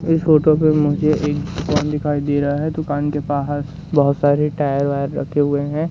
इस फोटो पे मुझे एक फोन दिखाई दे रहा है दुकान के बाहर बहोत सारे टायर वायर रखे हुए हैं।